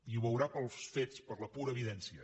i ho veurà pels fets per la pura evidència